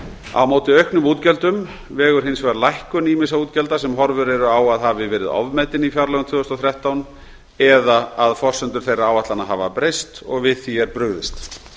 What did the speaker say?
á móti auknum útgjöldum vegur hins vegar lækkun ýmissa útgjalda sem horfur eru á að hafi verið ofmetin í fjárlögum tvö þúsund og þrettán eða að forsendur þeirra áætlana hafa breyst við því er brugðist